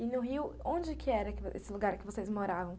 E no Rio, onde que era esse lugar que vocês moravam?